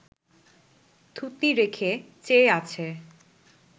থুতনি রেখে চেয়ে আছে